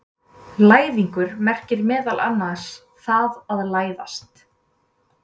læðingur merkir meðal annars „það að læðast“